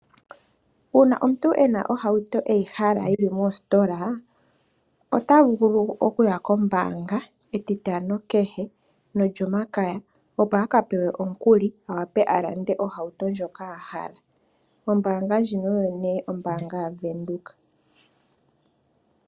Uuna omuntu ena ohauto e yihala yili mostola, ota vulu okuya kombaanga metitano kehe nolyomakaya opo a ka pewe omukuli, a wa pe a lande ohauto ndjoka a hala. Ombaanga ndjino oyo nee ombaanga yaVenduka.